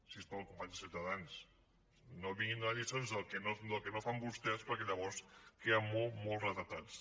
si us plau companys de ciutadans no vinguin a donar lliçons del que no fan vostès perquè llavors queden molt molt retratats